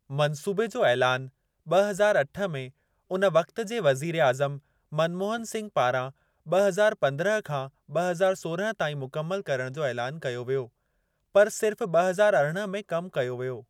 मंसूबे जो ऐलानु ब॒ हज़ार अठ में उन वक़्ति जे वज़ीर आज़मु मनमोहन सिंघु पारां ब॒ हज़ार पंद्रहं खां ब॒ हज़ार सोरहं ताईं मुकमिलु करणु जो ऐलानु कयो वियो, पर सिर्फ़ ब हज़ार अरिड़हं में कमु कयो वियो।